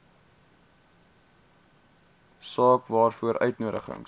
saak waaroor uitnodigings